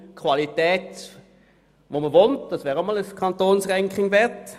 Das ist Qualität, die man will, und diese wäre auch einmal ein Kantonsranking wert.